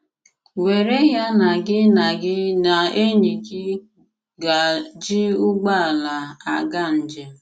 Wèrè ya na gị na gị na ènỳí gị gà-jí ụgbọ̀àlà àgà njem.